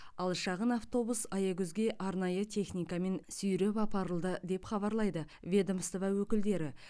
ал шағын автобус аягөзге арнайы техникамен сүйреп апарылды деп хабарлады ведомство өкілдері